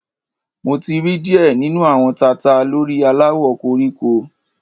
Mo ti ri diẹ ninu awọn tata lori alawọ koriko